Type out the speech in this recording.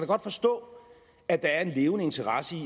godt forstå at der er en levende interesse i